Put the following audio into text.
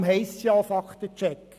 Deshalb heisst es auch Fakten-Check.